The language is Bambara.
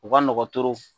U ka nɔgɔn